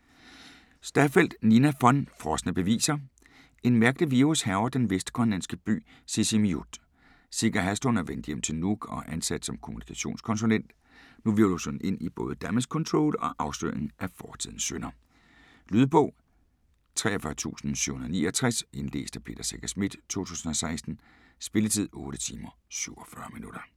Staffeldt, Nina von: Frosne beviser En mærkelig virus hærger den vestgrønlandske by Sisimiut. Sika Haslund er vendt hjem til Nuuk og ansat som kommunikationskonsulent. Nu hvirvles hun ind i både damage control og afsløringen af fortidens synder. Lydbog 43769 Indlæst af Peter Secher Schmidt, 2017. Spilletid: 8 timer, 47 minutter.